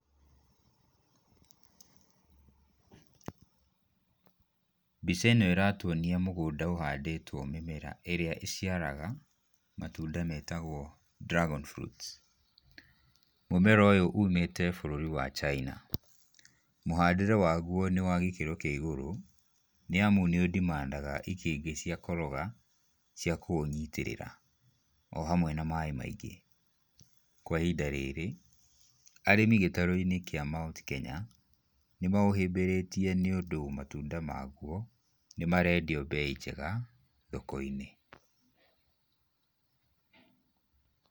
Mbica ĩno ĩratuonia mũgũnda ũhandĩtwo mĩmera ĩrĩa ĩciaraga matunda metagwo dragon fruits. Mũmera ũyũ umĩte bũrũri wa China. Mũhandĩre waguo nĩ wa gĩkĩro kĩa igũrũ nĩ amu nĩ ũ- demand -aga ikĩngĩ cia koroga cia kũũnyitĩrĩra o hamwe na maĩĩ maingĩ. Kwa ihinda rĩrĩ, arĩmi gĩtarũ-inĩ kia Mt. Kenya nĩ maũhĩmbĩrĩtie nĩ amu matunda maguo nĩ marendio mbei njega thoko-inĩ.